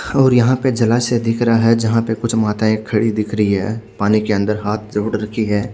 और यहाँ पे जलाशय दिख रहा है जहा पे कुछ माताए खड़ी दिख रही है पानी के अन्दर हाथ जोड़ रखी है।